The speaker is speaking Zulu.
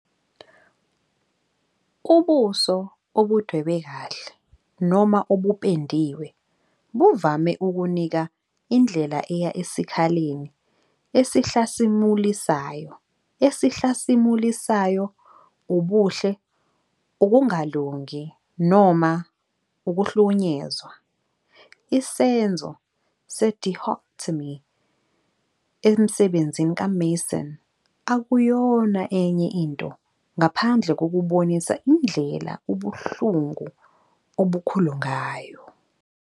Ubuso obudwebe kahle noma obupendiwe buvame ukunika indlela eya esikhaleni esihlasimulisayo, esihlasimulisayoUbuhle, ukungalungi, noma ukuhlukunyezwa, isenzo se-dichotomy emsebenzini kaMason akuyona enye into ngaphandle kokubonisa indlela ubuhlungu obukhulu ngayo.